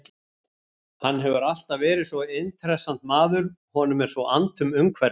Hann hefur alltaf verið svo intressant maður, honum er svo annt um umhverfið.